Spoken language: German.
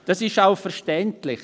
Dies ist auch verständlich: